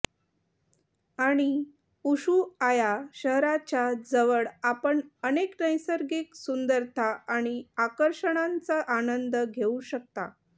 आणि उशुआया शहराच्या जवळ आपण अनेक नैसर्गिक सुंदरता आणि आकर्षणांचा आनंद घेऊ शकता